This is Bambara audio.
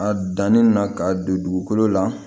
A dannin na ka don dugukolo la